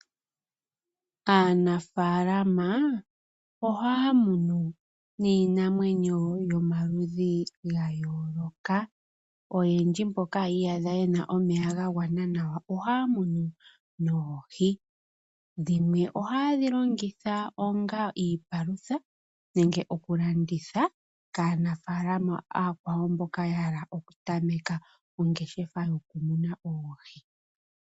Aanafalama ohaya munu niinamwenyo yomaludhi ga yooloka. Oyendji mboka yi iyadha ye na omeya ga gwana nawa ohaya munu noohi. Dhimwe ohaye dhi longitha onga iipalutha, nenge okulanditha kaanafaalama ooyakwawo mboka ya hala okutameka ongeshefa yokumuna oohi.